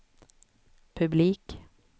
publik